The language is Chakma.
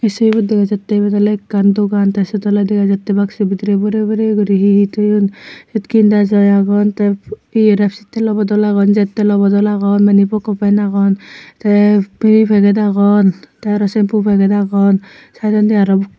ei sobibot dega jattey ibot oley ekkan dogan tey syot oley dega jattey baksu bidirey borey borey guri hi hi toyon syot kindajai agon tey ye res telo bodol agon jettolo bodol agon mani poko pan agon tey pri pagey agon tey aro sempu paget agon saidondi aro.